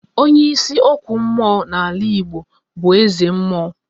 Onye ịsị okwu mmụọ n'ala Igbo bụ eze mmụọ